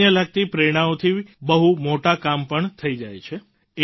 સામાન્ય લાગતી પ્રેરણાઓથી બહુ મોટા કામ પણ થઈ જાય છે